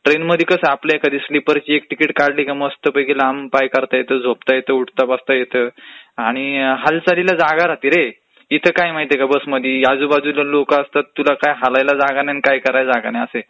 ट्रेनमध्ये कसं बर्थचं एक तिकीट काढली की मस्तपैकी लांब पाय करता येतात, झोपता येतं, उठता येत, हालचालीला जागा राहते रे, इथं काय माहितेय का बसमदी आजूबाजुला लोकं असतात, तुला काय हलायला जागा नाही ना काही करायला जागा नाही